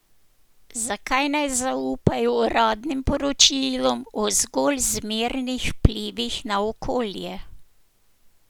Zakaj naj zaupajo uradnim poročilom o zgolj zmernih vplivih na okolje?